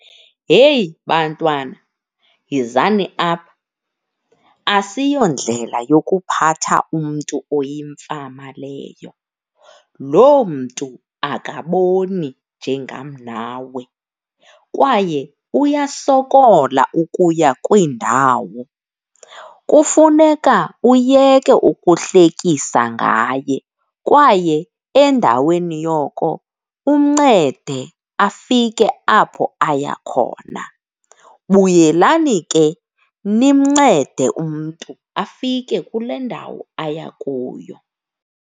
Heyi, bantwana yizani apha. Asiyondlela yokuphatha umntu oyimfama leyo, loo mntu akaboni njengam nawe kwaye uyasokola ukuya kwiindawo. Kufuneka uyeke ukuhlekisa ngaye kwaye endaweni yoko umncede afike apho aya khona. Buyelani ke nimncede umntu afike kule ndawo aya kuyo.